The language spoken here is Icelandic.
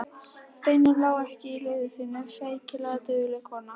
Steinunn lá ekki á liði sínu, feykilega dugleg kona.